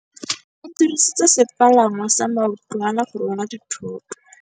Ba dirisitse sepalangwasa maotwana go rwala dithôtô.